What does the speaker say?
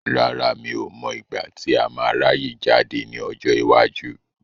Rárá, mi ò mọ igbati a máa ráyè jáde ní ọjọ́ iwájú.